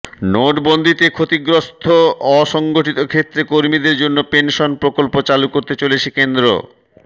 নোটবন্দিতে ক্ষতিগ্রস্ত অসংগঠিত ক্ষেত্রের কর্মীদের জন্য পেনশন প্রকল্প চালু করতে চলেছে কেন্দ্র